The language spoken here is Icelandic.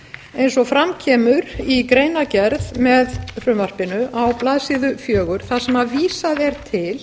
eins og fram kemur í greinargerð með frumvarpinu á blaðsíðu fjögur þar sem vísað er til